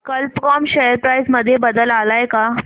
कल्प कॉम share price मध्ये बदल आलाय का